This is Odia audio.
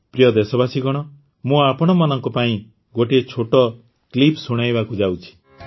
ପ୍ରିୟ ଦେଶବାସୀଗଣ ମୁଁ ଆପଣମାନଙ୍କ ପାଇଁ ଗୋଟିଏ ଛୋଟ କ୍ଲିପ୍ ଶୁଣାଇବାକୁ ଯାଉଛି